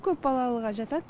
көп балалыға жатады